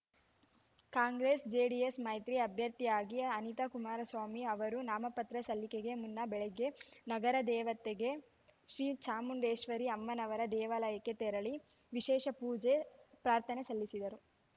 Congress JDS ಮೈತ್ರಿ ಅಭ್ಯರ್ಥಿಯಾಗಿ ಅನಿತಾ ಕುಮಾರಸ್ವಾಮಿ ಅವರು ನಾಮಪತ್ರ ಸಲ್ಲಿಕೆಗೆ ಮುನ್ನ ಬೆಳಗ್ಗೆ ನಗರದೇವತೆ ಶ್ರೀ ಚಾಮುಂಡೇಶ್ವರಿ ಅಮ್ಮನವರ ದೇವಾಲಯಕ್ಕೆ ತೆರಳಿ ವಿಶೇಷ ಪೂಜೆ ಪ್ರಾರ್ಥನೆ ಸಲ್ಲಿಸಿದರು